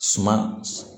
Suma